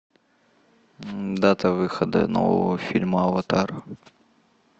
дата выхода нового фильма аватар